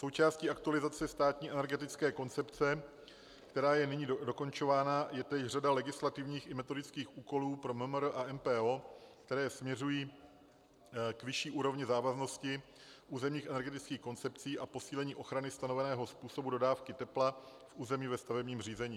Součástí aktualizace státní energetické koncepce, která je nyní dokončována, je též řada legislativních i metodických úkolů pro MMR a MPO, které směřují k vyšší úrovni závaznosti územních energetických koncepcí a posílení ochrany stanoveného způsobu dodávky tepla v území ve stavebním řízení.